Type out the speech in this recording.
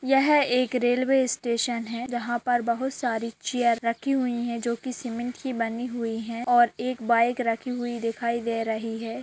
यह एक railway station है जहाँ पर बहुत सारी चेयर रखी हुई है जोकि सीमेंट की बनी हुई है और एक बाइक रखी हुई दिखाई दे रही है।